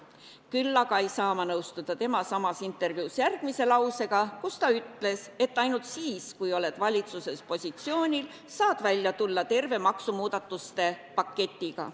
Küll aga ei saa ma nõustuda tema samas intervjuus öeldud järgmise lausega, et ainult siis, kui oled valitsuses positsioonil, saad välja tulla terve maksumuudatuste paketiga.